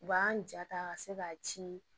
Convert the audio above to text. U b'an ja ta ka se k'a ci